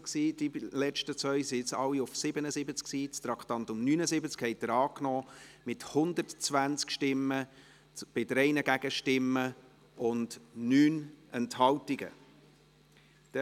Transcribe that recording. Ich bitte diejenigen, welche das Protokoll führen, zu beachten, dass die Traktandennummer auf der Anzeigetafel für die letzten beiden Traktanden nicht gewechselt wurde und noch das Traktandum 77 aufgeführt war.